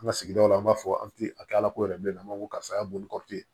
An ka sigidaw la an b'a fɔ an ti a kɛ ala ko yɛrɛ bilen a ma ko karisa y'a boli